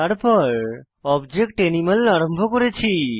তারপর object animal আরম্ভ করেছি